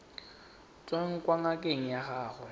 tswang kwa ngakeng ya gago